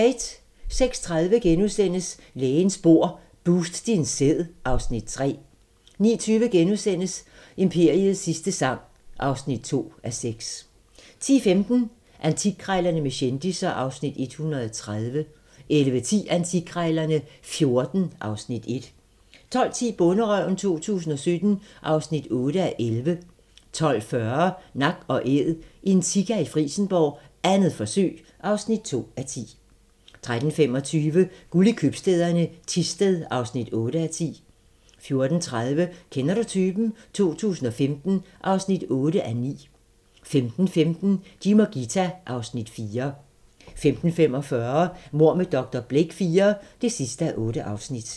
06:30: Lægens bord: Boost din sæd (Afs. 3)* 09:20: Imperiets sidste sang (2:6)* 10:15: Antikkrejlerne med kendisser (Afs. 130) 11:10: Antikkrejlerne XIV (Afs. 1) 12:10: Bonderøven 2017 (8:11) 12:40: Nak & Æd – en sika i Frijsenborg, 2. forsøg (2:10) 13:25: Guld i købstæderne - Thisted (8:10) 14:30: Kender du typen? 2015 (8:9) 15:15: Jim og Ghita (Afs. 4) 15:45: Mord med dr. Blake IV (8:8)